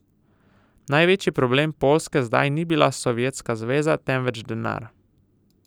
Največji problem Poljske zdaj ni bila Sovjetska zveza, temveč denar.